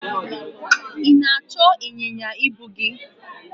ị na-achọ ịnyịnya ibu gi?